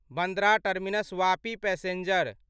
Bandra terminus Vapi passenger